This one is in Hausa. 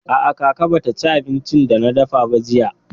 A'a, kaka ba ta ci abincin da na dafa ba jiya.